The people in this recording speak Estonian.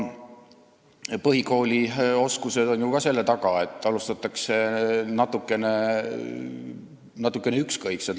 Põhikoolis on oskused ju ka selle taga, et alustatakse natukene ükskõikselt.